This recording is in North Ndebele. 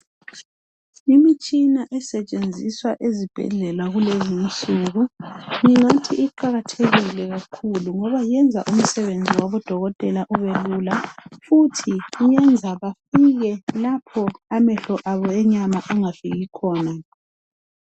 Imitshina esetshenziswa ezibhedlela kulezinsuku ngingathi iqakathekile kakhulu ngoba yenza umsebenzi wabodokotela ubelula futhi iyenza bafike lapho amehlo abo enyama angafiki khona.